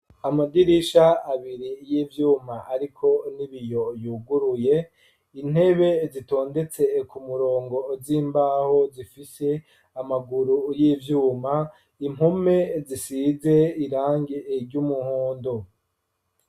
Amadirisha abiri y'ivyuma ariko n'ibiyo yuguruye, intebe zitondetse ku murongo z'imbaho zifise amaguru y'ivyuma, impome zisize irangi ry'umuhondo.